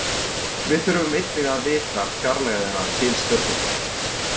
Við þurfum einnig að vita fjarlægðina til stjörnunnar.